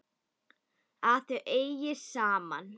Að þau eigi saman.